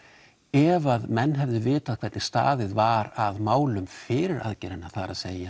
ef að menn hefðu vitað hvernig staðið var að málum fyrir aðgerðina það er